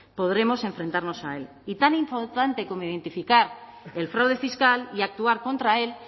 podremos enfrentarnos a él y tan importante como identificar el fraude fiscal y actuar contra él